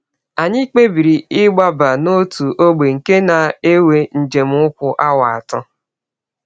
“ Anyị kpebiri ịgbaba n’ọtụ ọgbe nke na - ewe njem ụkwụ awa atọ.